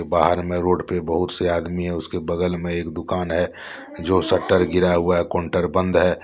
बाहर में रोड पे बहुत से आदमी है उसके बगल में एक दुकान है जो सटर गिरा हुआ है काउंटर बंद है।